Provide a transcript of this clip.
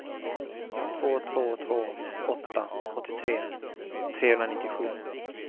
två två två åtta åttiotre trehundranittiosju